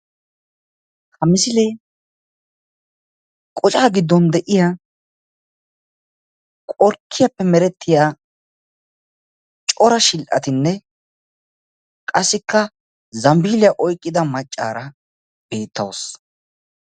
ha misilee qocaa gidon de'iyaa qorkkiyappe meretiya cora shidhatinne qassikka zambiiliya oyqida macaara beetawusu